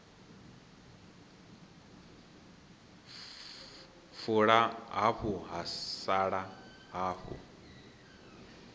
fula hafu ha sala hafu